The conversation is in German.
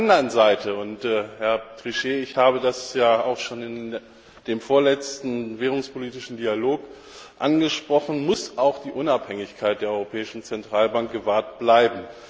Auf der anderen Seite Herr Trichet, ich habe das ja auch schon in dem vorletzten währungspolitischen Dialog angesprochen muss auch die Unabhängigkeit der Europäischen Zentralbank gewahrt bleiben